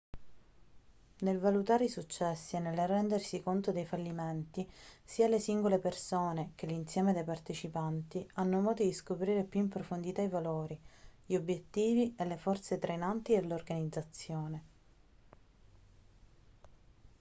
nel valutare i successi e nel rendersi conto dei fallimenti sia le singole persone che l'insieme dei partecipanti hanno modo di scoprire più in profondità i valori gli obiettivi e le forze trainanti dell'organizzazione